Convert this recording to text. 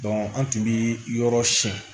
an tun bɛ yɔrɔ siyɛn